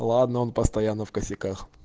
ладно он постоянно в косяках